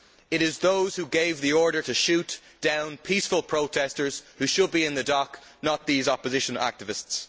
It is those who gave the order to shoot down peaceful protestors who should be in the dock, not these opposition activists.